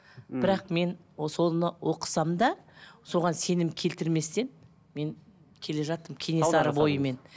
бірақ мен соны оқысам да соған сенім келтірместен мен келе жатырмын кенесары бойымен